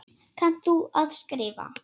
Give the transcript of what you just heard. Kannt þú að skrifa?